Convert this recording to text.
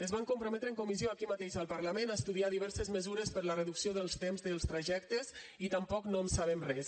es van comprometre en comissió aquí mateix al parlament a estudiar diverses mesures per a la reducció dels temps dels trajectes i tampoc no en sabem res